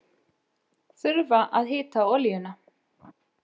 Þurfa að hita olíuna